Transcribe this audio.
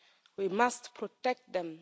We must protect them.